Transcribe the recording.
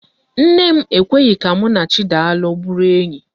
Nne m ekweghi ka mụ na Chidalụ bụrụ enyi.